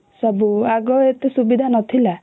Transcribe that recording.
ସବୁ ଆଗ ଏତେ ସୁବିଧା ନଥିଲା